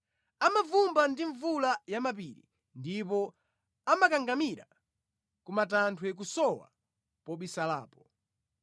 Amavumbwa ndi mvula ya mʼmapiri ndipo amakangamira ku matanthwe kusowa pobisalapo.